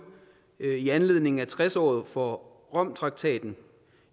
i anledningen af tres året for romtraktaten